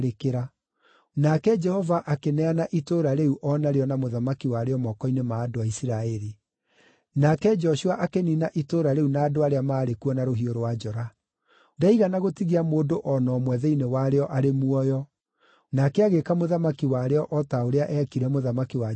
Nake Jehova akĩneana itũũra rĩu o narĩo na mũthamaki warĩo moko-inĩ ma andũ a Isiraeli. Nake Joshua akĩniina itũũra rĩu na andũ arĩa maarĩ kuo na rũhiũ rwa njora. Ndaigana gũtigia mũndũ o na ũmwe thĩinĩ warĩo arĩ muoyo. Nake agĩĩka mũthamaki warĩo o ta ũrĩa eekire mũthamaki wa Jeriko.